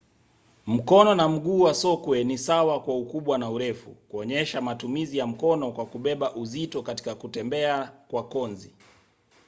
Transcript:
mkono na mguu wa sokwe ni sawa kwa ukubwa na urefu kuonyesha matumizi ya mkono kwa kubeba uzito katika kutembea kwa konzi